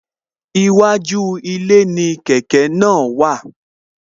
Iwájú ilé ni kẹ̀kẹ́ náà wà